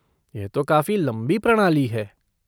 यह तो काफ़ी लंबी प्रणाली है।